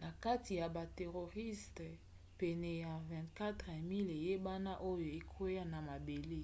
na kati ya bameteoriste pene ya 24 000 eyebana oyo ekwea na mabele